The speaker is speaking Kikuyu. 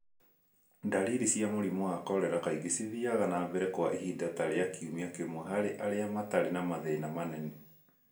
Ndariri cia mũrimũ wa korera kaingĩ cithiaga na mbere kwa ihinda ta rĩa kiumia kĩmwe harĩ arĩa matarĩ na mathĩna manene.